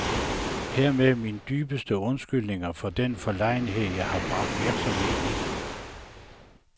Hermed mine dybeste undskyldninger for den forlegenhed, jeg har bragt virksomheden i.